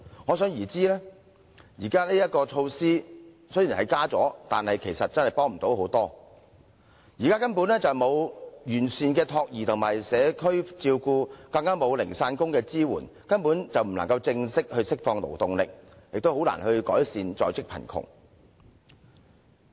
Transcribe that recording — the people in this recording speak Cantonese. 可想而知，新增名額其實幫助不大。現時根本沒有完善的託兒及社區照顧政策，更沒有零散工的支援，所以無法真正釋放勞動力，亦難以改善在職貧窮。